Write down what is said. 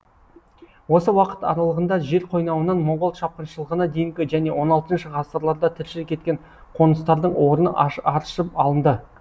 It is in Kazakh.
осы уақыт аралығында жер қойнауынан моңғол шапқыншылығына дейінгі және он алтыншы ғасырларда тіршілік еткен қоныстардың орны аршып алынды